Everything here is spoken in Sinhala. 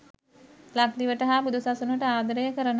ලක්දිවට හා බුදුසසුනට ආදරය කරන